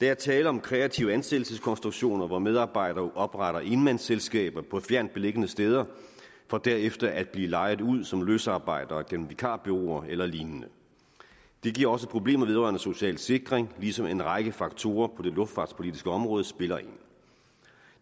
er tale om kreative ansættelseskonstruktioner hvor medarbejdere opretter enmandsselskaber på fjernt beliggende steder for derefter at blive lejet ud som løsarbejdere gennem vikarbureauer eller lignende det giver også problemer vedrørende social sikring ligesom en række faktorer på det luftfartspolitiske område spiller ind